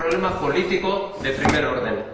Es un problema político de primer orden.